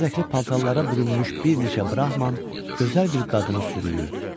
Bərbəzəkli paltarlara bürünmüş bir neçə Brahman gözəl bir qadını sürüyürdü.